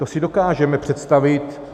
To si dokážeme představit.